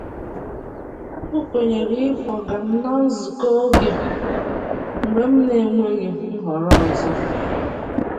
O kwenyere ịkwọga m na nzukọ oge mgbe m na-enweghị nhọrọ ọzọ.